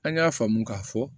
An y'a faamu k'a fɔ